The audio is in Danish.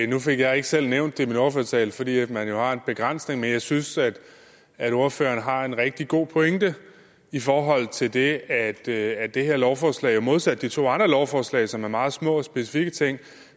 nu fik jeg ikke selv nævnt det i min ordførertale fordi man jo har en begrænsning men jeg synes at ordføreren har en rigtig god pointe i forhold til det at det at det her lovforslag modsat de to andre lovforslag som er meget små og specifikke ting